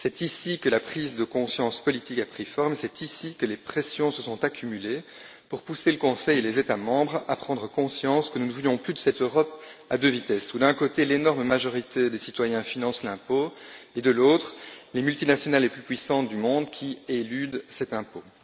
C'est ici que la prise de conscience politique a pris forme, et c'est ici que les pressions se sont accumulées pour pousser le Conseil et les États membres à prendre conscience que nous ne voulons plus de cette Europe à deux vitesses où, d'un côté, l'énorme majorité des citoyens finance l'impôt et, de l'autre, les multinationales les plus puissantes du monde éludent cet impôt.